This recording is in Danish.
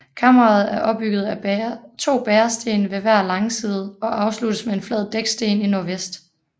Kammeret er opbygget af to bæresten ved hver langside og afsluttes med en flad dæksten i nordvest